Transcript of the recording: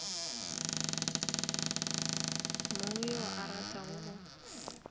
mang yo a ratago go